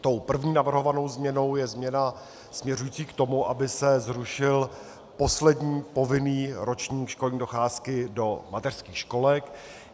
Tou první navrhovanou změnou je změna směřující k tomu, aby se zrušil poslední povinný ročník školní docházky do mateřských školek.